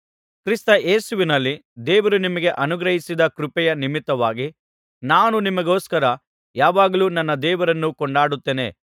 ಕ್ರಿಸ್ತ ಯೇಸುವಿನಲ್ಲಿ ದೇವರು ನಿಮಗೆ ಅನುಗ್ರಹಿಸಿದ ಕೃಪೆಯ ನಿಮಿತ್ತವಾಗಿ ನಾನು ನಿಮಗೋಸ್ಕರ ಯಾವಾಗಲೂ ನನ್ನ ದೇವರನ್ನು ಕೊಂಡಾಡುತ್ತೇನೆ